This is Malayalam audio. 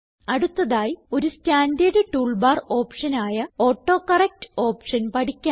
അടുത്തതായി ഒരു സ്റ്റാൻഡേർഡ് ടൂൾ ബാർ ഓപ്ഷൻ ആയ ഓട്ടോകറക്ട് ഓപ്ഷൻ പഠിക്കാം